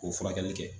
K'o furakɛli kɛ